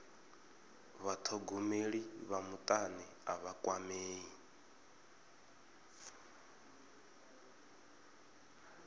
vhathogomeli vha mutani a vha kwamei